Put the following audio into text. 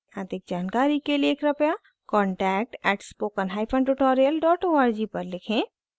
अधिक जानकारी के लिए कृपया contact @spokentutorial org पर लिखें